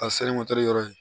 A yɔrɔ ye